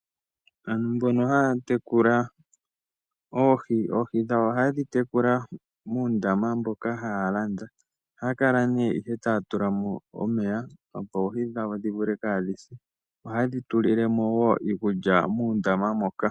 Aantu mbono haya tekula oohi, oohi dhawo ohaye dhi tekula muundama mboka haya landa. Ohaya kala nee ihe taya tula mo omeya opo oohi dhawo dhi vule kaadhi se. Ohaye dhi tulile mo wo iikulya muundama moka.